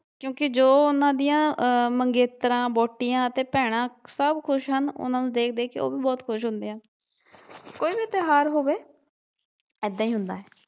ਕਿਉਂਕਿ ਜੋ ਉਹਨਾਂ ਦੀਆ ਆਹ ਮੰਗੇਤਰਾਂ, ਵਹੁਟੀਆਂ ਤੇ ਭੈਣਾਂ ਸਭ ਖੁਸ਼ ਹਨ ਉਹਨਾਂ ਨੂੰ ਦੇਖ ਦੇਖ ਕੇ ਓਵੀ ਬਹੁਤ ਖੁਸ਼ ਹੁੰਦੇ ਹਨ ਕੋਈ ਵੀ ਤਿਉਹਾਰ ਹੋਵੇ ਏਦਾਂ ਈ ਹੁੰਦਾ ਏ।